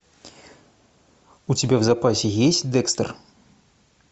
у тебя в запасе есть декстер